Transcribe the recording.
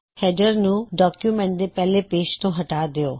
header ਨੂੰ document ਦੇ ਪਹਿਲੇ ਪੇਜ ਤੋਂ ਹਟਾ ਦਿੳ